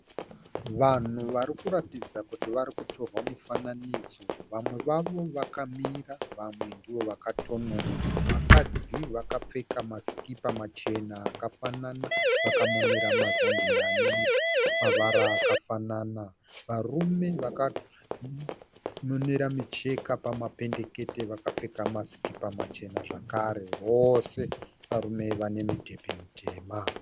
Vanhu varikuratidza kuti varikutorwa mufananidzo. Vamwe vavo vakamira vamwe ndivo vakatonona. Vakadzi vakapfeka ma sikipa machena akafanana vakamonera mazambia anemavara akafanana. Varume vakamonera micheka pama pendekete vakapfeka ma sikipa machena zvekare vose varume vaine midhebhe mitema.